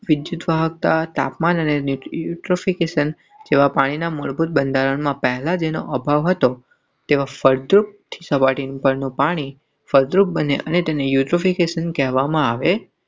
વિદ્યુતવાહકતા તાપમાન અને યુટ્રોફિકેશન જેવા પાણીના મૂળભૂત બંધારણમાં પહેલાં જેનો અભાવ હતો તેવા ફળદ્રુપ. પડ બને અને યુકેશન કહેવામાં આવે.